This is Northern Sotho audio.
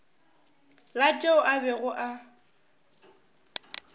la tšeo a bego a